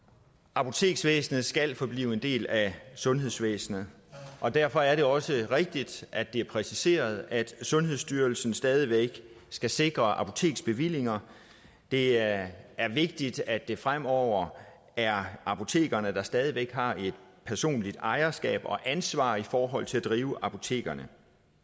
apoteksvæsenet skal forblive en del af sundhedsvæsenet og derfor er det også rigtigt at det er præciseret at sundhedsstyrelsen stadig væk skal sikre apoteksbevillinger det er vigtigt at det fremover er apotekerne der stadig væk har et personligt ejerskab og ansvar i forhold til at drive apotekerne